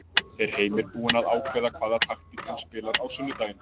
Er Heimir búinn að ákveða hvaða taktík hann spilar á sunnudaginn?